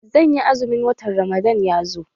Zanyi azumi in watan ramadan ya zo